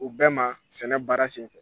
U bɛɛ ma sɛnɛ baara senfɛ.